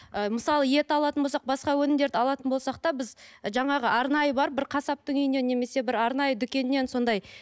ы мысалы ет алатын болсақ басқа өнімдерді алатын болсақ та біз жаңағы арнайы барып бір қасаптың үйіне немесе бір арнайы дүкеннен сондай